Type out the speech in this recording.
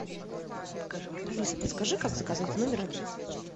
алиса подскажи как заказать в номер обед